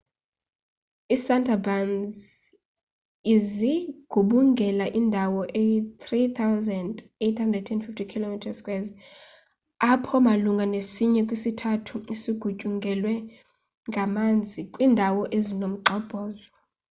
iisundarbans zigubungela indawo eyi-3,850 km² apho malunga nesinye kwisithathu sigutyungelwe ngamanzi / kwiindawo ezinomgxobhozo